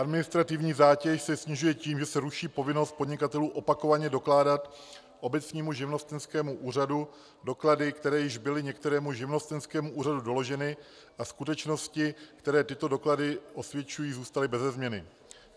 Administrativní zátěž se snižuje tím, že se ruší povinnost podnikatelů opakovaně dokládat obecnímu živnostenskému úřadu doklady, které již byly některému živnostenskému úřadu doloženy, a skutečnosti, které tyto doklady osvědčují, zůstaly bez změny.